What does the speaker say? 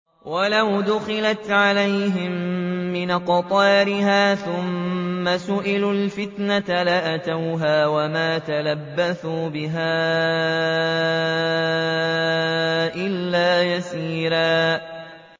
وَلَوْ دُخِلَتْ عَلَيْهِم مِّنْ أَقْطَارِهَا ثُمَّ سُئِلُوا الْفِتْنَةَ لَآتَوْهَا وَمَا تَلَبَّثُوا بِهَا إِلَّا يَسِيرًا